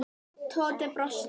Tóti brosti.